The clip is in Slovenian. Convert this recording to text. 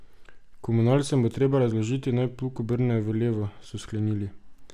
Komunalcem bo treba razložiti, naj plug obrnejo v levo, so sklenili.